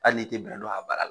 Hali n'i tɛ bɛrɛ don a bana la.